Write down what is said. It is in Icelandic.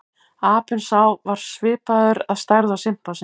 Apinn sá var svipaður að stærð og simpansi.